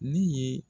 Ne ye